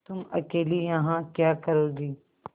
तुम अकेली यहाँ क्या करोगी